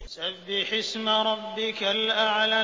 سَبِّحِ اسْمَ رَبِّكَ الْأَعْلَى